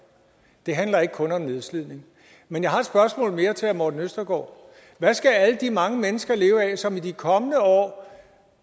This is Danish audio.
det handler ikke kun om nedslidning men jeg har et spørgsmål mere til herre morten østergaard hvad skal alle de mange mennesker leve af som i de kommende år